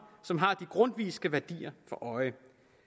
som har de grundtvigske værdier for øje